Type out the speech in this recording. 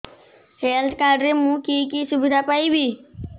health card ରେ ମୁଁ କି କି ସୁବିଧା ପାଇବି